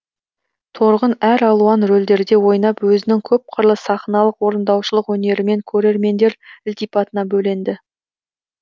торғын әр алуан рөлдерде ойнап өзінің көпқырлы сахналық орындаушылық өнерімен көрермендер ілтипатына бөленді